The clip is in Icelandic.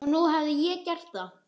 Og nú hafði ég gert það.